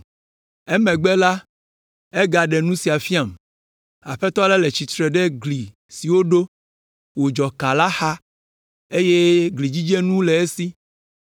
Emegbe la, egaɖe nu sia fiam: Aƒetɔ la le tsi tsitre ɖe gli si woɖo, wòdzɔ kã la xa, eye glidzidzenu le esi.